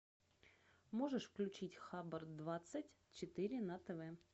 можешь включить хабр двадцать четыре на тв